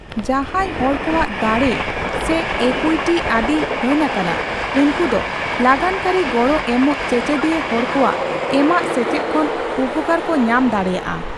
ᱡᱟᱦᱟᱸᱭ ᱦᱚᱲᱠᱚᱣᱟᱜ ᱫᱟᱲᱮ ᱥᱮ ᱮᱠᱩᱭᱴᱤ ᱟᱹᱰᱤ ᱦᱟᱹᱱ ᱟᱠᱟᱱᱟ, ᱩᱱᱠᱩ ᱫᱚ ᱞᱟᱜᱟᱱᱠᱟᱹᱨᱤ ᱜᱚᱲᱚ ᱮᱢᱚᱜ ᱪᱮᱪᱮᱫᱤᱭᱟᱹ ᱦᱚᱲᱠᱚᱣᱟᱜ ᱮᱢᱟᱜ ᱥᱮᱪᱮᱫ ᱠᱷᱚᱱ ᱩᱯᱠᱟᱹᱨ ᱠᱚ ᱧᱟᱢ ᱫᱟᱲᱮᱭᱟᱜᱼᱟ ᱾